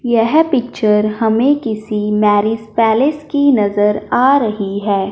यह पिक्चर हमें किसी मैरिज पैलेस की नजर आ रही है।